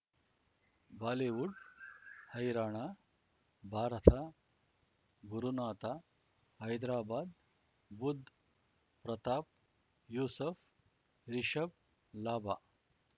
Bollywood ಹೈರಾಣ ಭಾರತ ಗುರುನಾಥ ಹೈದ್ರಾಬಾದ್ ಬುಧ್ ಪ್ರತಾಪ್ ಯೂಸುಫ್ ರಿಷಬ್ ಲಾಭ